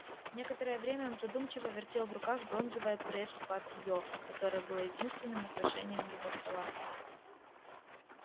некоторое время он задумчиво вертел в руках бронзовое пресс-папьё которое было единственным украшением его стола